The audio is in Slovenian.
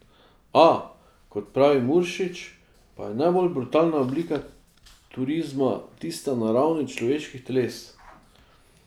A, kot pravi Muršič, pa je najbolj brutalna oblika turizma tista na ravni človeških teles.